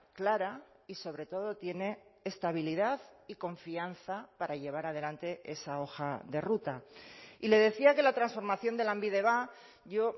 clara y sobre todo tiene estabilidad y confianza para llevar adelante esa hoja de ruta y le decía que la transformación de lanbide va yo